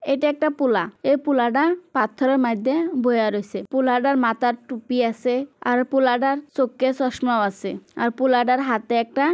এটা একটা পোলা এই পোলাটা পাথরের মাইধ্যে বইয়া রয়েছে পোলাটার মাথার টুপি আছে আর পোলাটার চোখে চশমাও আছে আর পোলাটার হাতে একটা--